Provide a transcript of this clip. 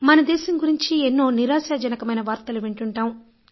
మన దేశం గురించి ఎన్నో నిరాశాజనకమైన వార్తలు వింటాం